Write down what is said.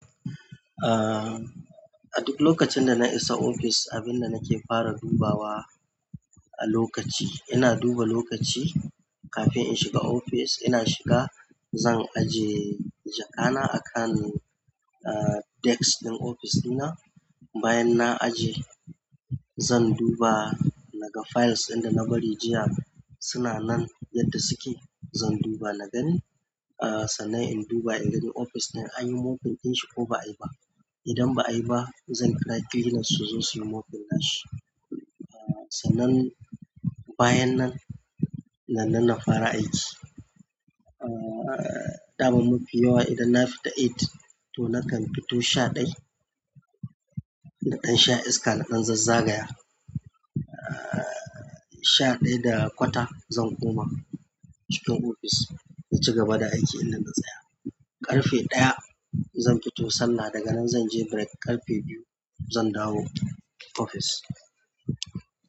A duk lokacin da na isa ofis, abin da nake fara duba wa a lokaci, ina duba lokaci kafin in shiga ofis. Ina shiga, zan aje jakana akan, ah, desk ɗin ofis ɗina. Bayan na aje, zan duba naga files ɗin da na bari jiya suna nan yadda suke. Zan duba nagani, ah, sannan in duba in gani ofis din anyi mopping din shi ko ba a yi ba. Idan ba'ayi ba zan kira cleaners su zo suyi mopping na shi sannan, bayan nan nannan na fara aiki ah, ɗaman mafi yawa idan na fita eight to nakan fito sha ɗaya. Naƙan sha iska, na dan zazzagaya. Ah, sha ɗaya da kwata zan koma cikin ofis na ci gaba da aikin in da na tsaya. Ƙarfe ɗaya zan fito sallah, daga nan zan je break. Ƙarfe biyu zan dawo ofis.